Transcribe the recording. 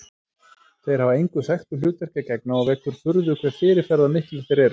Þeir hafa engu þekktu hlutverki að gegna og vekur furðu hve fyrirferðarmiklir þeir eru.